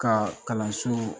Ka kalanso